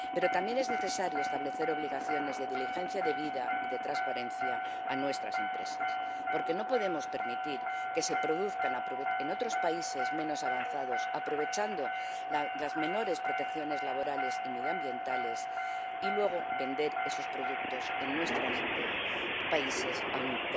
También es necesario establecer obligaciones de diligencia debida y de transparencia a nuestras empresas porque no podemos permitir que se produzca en otros países menos avanzados —aprovechando las menores protecciones laborales y medioambientales— y luego se vendan esos productos en nuestros países a un